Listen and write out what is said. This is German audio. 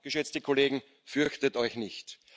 Aber, geschätzte Kollegen, fürchtet euch nicht!